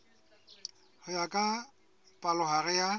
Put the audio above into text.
ho ya ka palohare ya